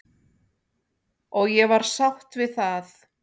Og ég var sátt við það.